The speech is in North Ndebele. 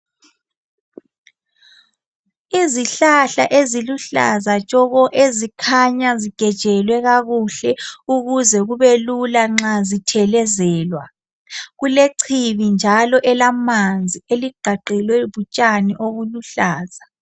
Izihlahla eziluhlaza tshoko ezikhanya zigejelwe kakuhle ukuze kube lula nxa zithelezelwa kulechibi njalo elamanzi eliqgaqgelwe lutshani obuluhlaza